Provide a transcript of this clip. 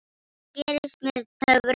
Allt gerist með töfrum.